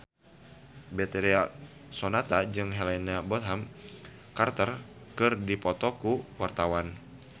Betharia Sonata jeung Helena Bonham Carter keur dipoto ku wartawan